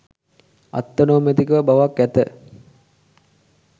අත්තනෝමතික බවක් ඇත.